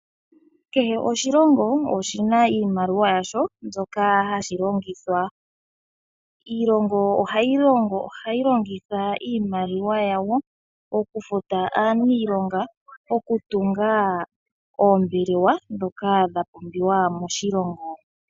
Kehe oshilongo oshi na iimaliwa yasho mbyoka hashi longitha. Iilongo ohayi longitha iimaliwa yawo okufuta aaniilonga, okutunga oombelewa ndhoka dha pumbiwa moshilongo.